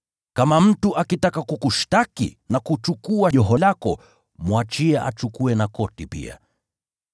Kama mtu akitaka kukushtaki na kuchukua joho lako, mwachie achukue na koti pia.